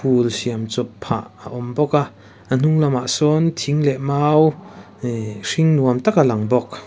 pool siam chawp phah a awm bawk a a hnung lamah sawn thing leh mau ih hring nuam tak a lang bawk.